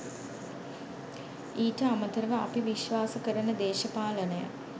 ඊට අමතරව අපි විශ්වාස කරන දේශපාලනය